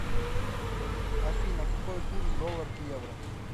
афина какой курс доллар к евро